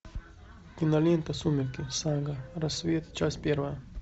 кинолента сумерки сага рассвет часть первая